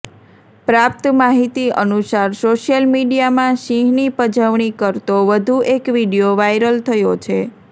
પ્રાપ્ત માહિતી અનુસાર સોશિયલ મીડિયામાં સિંહની પજવણી કરતો વધુ એક વિડીયો વાયરલ થયો છે